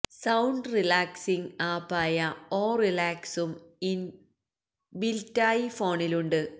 sound relaxing ആപ്പായ ഓ റിലാക്സും ഇന് ബില്റ്റായി ഫോണിലുണ്ട്